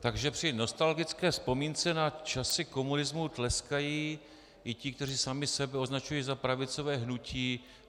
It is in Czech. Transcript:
Takže při nostalgické vzpomínce na časy komunismu tleskají i ti, kteří sami sebe označují za pravicové hnutí.